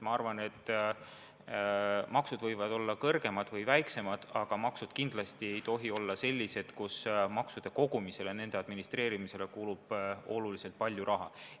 Maksud võivad olla kõrgemad või madalamad, aga need kindlasti ei tohi olla sellised, et nende kogumisele, nende administreerimisele kulub väga palju raha.